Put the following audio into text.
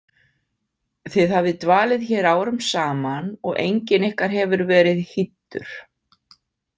Þið hafið dvalið hér árum saman og enginn ykkar hefur verið hýddur.